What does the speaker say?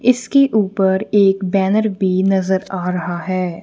इसके ऊपर एक बैनर भी नजर आ रहा है।